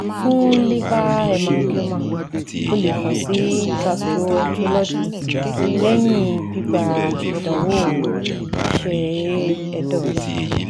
Fun liver hemangioma o le kan si gastroenterologist lẹhin gbigba idanwo iṣẹ ẹdọ rẹ